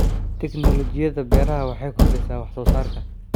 Tiknoolajiyada beeraha waxay kordhisaa wax soo saarka.